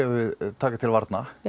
taka til varna